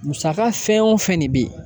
Musaka fɛn o fɛn ne bɛ yen